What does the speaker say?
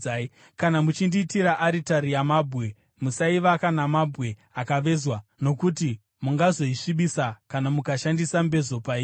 Kana muchindiitira aritari yamabwe, musaivaka namabwe akavezwa, nokuti mungazoisvibisa kana mukashandisa mbezo pairi.